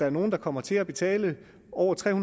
er nogle der kommer til at betale over tre